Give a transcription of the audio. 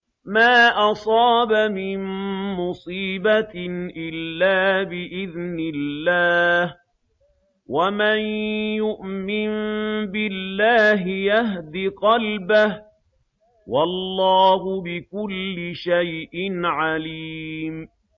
مَا أَصَابَ مِن مُّصِيبَةٍ إِلَّا بِإِذْنِ اللَّهِ ۗ وَمَن يُؤْمِن بِاللَّهِ يَهْدِ قَلْبَهُ ۚ وَاللَّهُ بِكُلِّ شَيْءٍ عَلِيمٌ